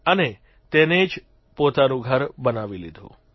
અને તેને જ પોતાનું ઘર બનાવી લીધું